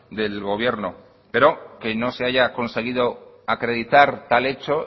del gobierno pero que no se haya conseguido acreditar tal hecho